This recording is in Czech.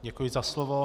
Děkuji za slovo.